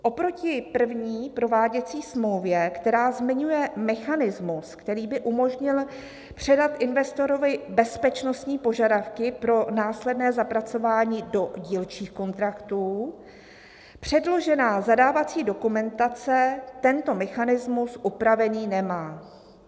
"Oproti první prováděcí smlouvě, která zmiňuje mechanismus, který by umožnil předat investorovi bezpečnostní požadavky pro následné zapracování do dílčích kontraktů, předložená zadávací dokumentace tento mechanismus upravený nemá."